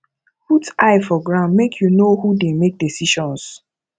put eye for ground make you know who dey make decisions